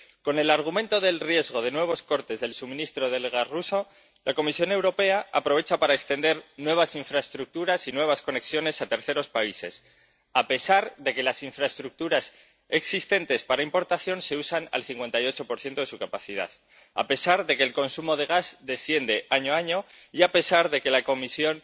Con el argumento del riesgo de nuevos cortes del suministro del gas ruso, la Comisión Europea aprovecha para extender nuevas infraestructuras y nuevas conexiones a terceros países, a pesar de que las infraestructuras existentes para importación se usan al 58 de su capacidad, a pesar de que el consumo de gas desciende año a año y a pesar de que la Comisión